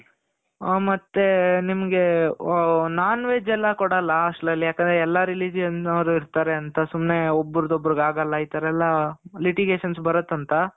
ಆ ಮತ್ತೆ ನಿಮ್ಗೆ. non-veg ಎಲ್ಲಾ ಕೊಡಲ್ಲ.hostel ಅಲ್ಲಿ ಯಾಕಂದ್ರೆ ಎಲ್ಲಾ religion ಅವರು ಇರ್ತಾರೆ ಅಂತ ಸುಮ್ನೆ ಒಬ್ರುದು ಒಬ್ರಿಗೆ ಆಗಲ್ಲ. ಈ ತರ ಎಲ್ಲಾ litigations ಬರುತ್ತಂತ.